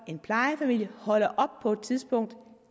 en plejefamilie holder op på et tidspunkt